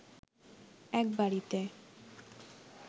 এক বাড়িতে